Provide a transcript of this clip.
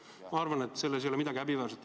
Ma arvan, et selles ei ole midagi häbiväärset.